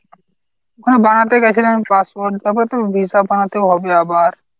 ওখানে বানাতে গেছিলাম passport তারপর তো visa বানাতেও হবে আবার।